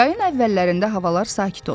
Yayın əvvəllərində havalar sakit olur.